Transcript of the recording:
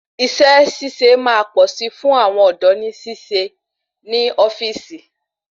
Isé síse máa pọ̀ sí fún àwọn ọ̀dọ́ ni sì ṣe iṣẹ ni ofíìsì